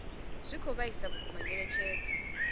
zwi khou vhaisa vhukuma nyengedzedzo